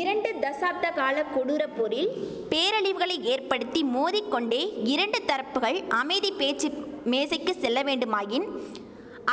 இரண்டு தசாப்தகால கொடூரப் போரில் பேரழிவுகளை ஏற்படுத்தி மோதி கொண்டே இரண்டு தரப்புகள் அமைதி பேச்சு மேசைக்கு செல்ல வேண்டுமாயின்